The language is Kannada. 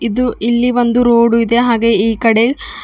ಇದು ಇಲ್ಲಿ ಒಂದು ರೋಡು ಇದೆ ಹಾಗೆ ಈಕಡೆ--